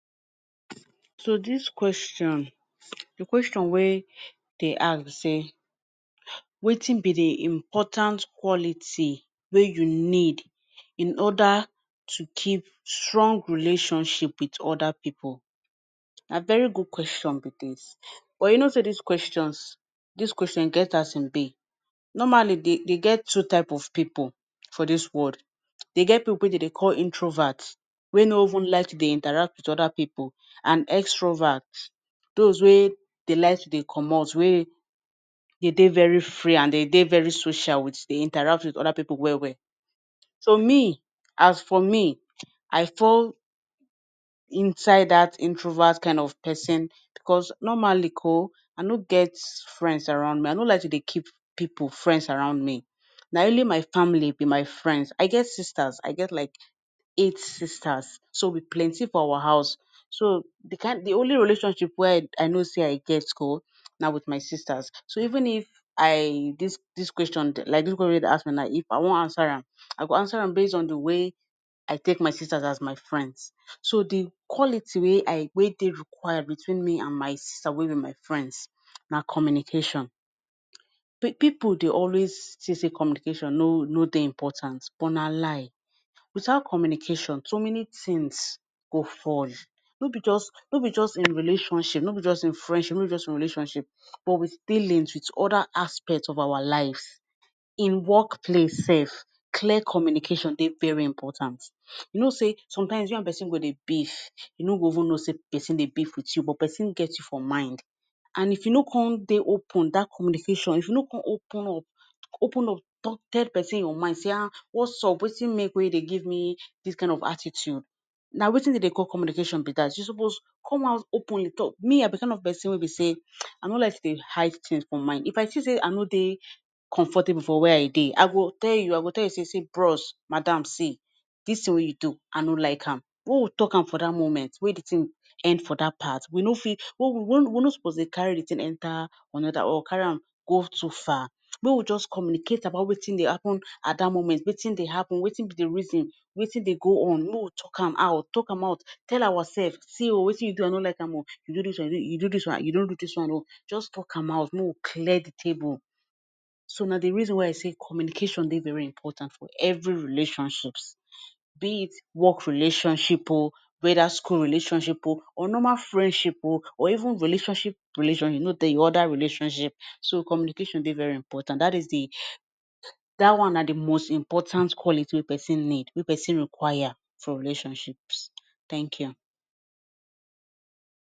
So dis question, di question wey dey ask, say, wetin be di important quality wey you need in order to keep strong relationship wit oda pipu? Na very good question be dis, but you know say dis questions, dis question get as im be. Normally, dey dey get two type of pipu for dis world. Dey get pipu that dey call introverts, wey no even like to dey interact wit oda pipu, and extroverts, dos wey dey like to dey comot wey dey dey very free and dey dey very social, wit dey interacts wit oda pipu well well. So me, as for me, I fall inside dat introvert kind of pesin, bicos normally ko, I no gets friends around me. I no like to dey keep pipu, friends around me. Na only my family be my friends. I get sisters. I get, like, eight sisters, so we plenty for our house. So di kind...Di only relationship wey I know sey I get ko, na wit my sisters. So even if I... dis, dis question, like dis question wey you dey ask me na, if I wan ansa am, I go ansa am based on di way I take my sisters as my friends. So di quality wey I wey dey require between me and my sister wey be my friends, na communication. Pipu, dey always say, sey communication, no, no dey important. But na lie, witout communication, so many tins go fall. No be just, no be just in relationship, no be just in friendship, no just in relationship, but wit dealings wit oda aspects of our lives. In workplace sef, clear communication, dey very important. You know say, sometimes you and pesin go dey beef, you no go even know say pesin dey beef wit you, but pesin get you for mind. And if you no come, dey open dat communication, if you no come open up, open up, tok, tell pesin your mind, say, um, what's up? Wetin make wey you dey give me dis kind of attitude. Na, wetin dey dey call communication be dat, You supposed come out openly, talk. Me, I be di kind of pesin wey we say, I no like to dey hide tins for mind. If I see say I no dey comfortable for wia I dey, I go tell you, I will tell you say, See, bros, madame, see, dis tin wey you do, I no like am. Wen we talk am for dat moment, wey di tin end for dat part. We no fit. We no supposed dey carry di tin enta anoda or carry on go too far. Mey we just communicate about wetin dey happen at dat moment, wetin dey happun, wetin be di reason, wetin dey go on. Make we tok am out, tok am out, tell oursef. See Oh, wetin you do I no like am oh. You do dis, you do dis one, you no do dis one oh. Just tok am out make we clear di table. So na di reason why I say communication dey very important for evri relationships, be it work relationship oh, weda school relationship oh, or normal friendship oh, or even relationship relationship or oda relationship. So communication de very important. Dat is di dat one na di most important quality wey pesin need, wey pesin require for relationships. Thank you.